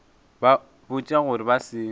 ba botša gore ba se